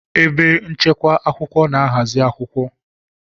Ebe nchekwa akwụkwọ na-ahazi akwụkwọ